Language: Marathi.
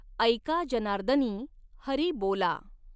ऎका जनार्दनीं हरि बॊला.